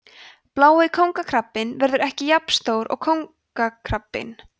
blái kóngakrabbinn verður ekki jafn stór og kóngakrabbinn